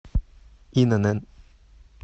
инн